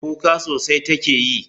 Kuka sosai take yi.